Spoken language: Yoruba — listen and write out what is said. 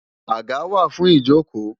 Àga wà fún ìjókòó